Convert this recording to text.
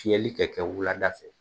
Fiyɛli kɛ kɛ wulada fɛ